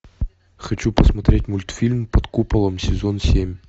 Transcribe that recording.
хочу посмотреть мультфильм под куполом сезон семь